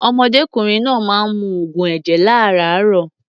Ọ̀mọdékùnrin náà máa ń mu oògùn ẹ̀jẹ̀ lárààárọ̀.